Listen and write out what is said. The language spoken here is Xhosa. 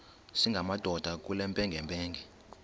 singamadoda kule mpengempenge